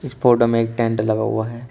Photo में एक tent लगा हुआ है।